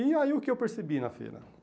E aí, o que eu percebi na feira?